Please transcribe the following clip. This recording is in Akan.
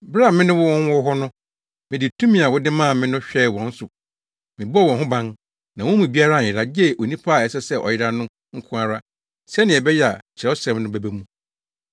Bere a me ne wɔn wɔ hɔ no, mede tumi a wode maa me no hwɛɛ wɔn so. Mebɔɔ wɔn ho ban, na wɔn mu biara anyera, gye onipa a ɛsɛ sɛ ɔyera no nko ara, sɛnea ɛbɛyɛ a Kyerɛwsɛm no bɛba mu.